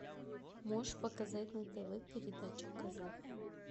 можешь показать на тв передачу казах